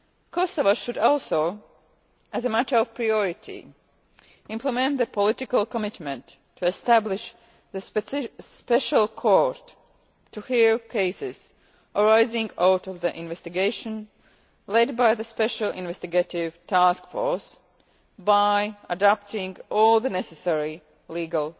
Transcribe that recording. Kosovo should also, as a matter of priority, implement the political commitment to establish the special court to hear cases arising out of the investigation led by the Special Investigative Task Force, by adopting all the necessary